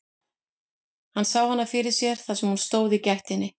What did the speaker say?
Hann sá hana fyrir sér þar sem hún stóð í gættinni.